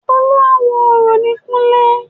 Olúawo orò ni kúnlé